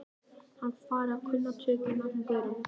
Hann er farinn að kunna tökin á þessum gaurum.